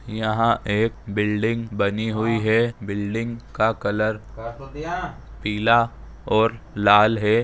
यहाँ एक बिल्डिंग बनी हुई है बिल्डिंग का कलर पीला और लाल है।